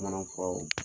Manafuraw